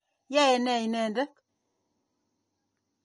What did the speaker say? Yoe ne inendet?